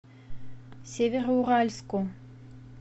североуральску